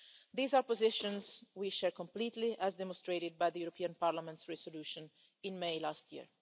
These are positions we share completely, as demonstrated by the European Parliament's resolution in May last year.